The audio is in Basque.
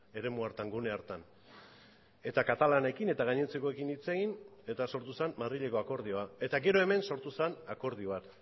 eremu hartan gune hartan eta katalanekin eta gainontzekoekin hitz egin eta sortu zen madrileko akordioa eta gero hemen sortu zen akordio bat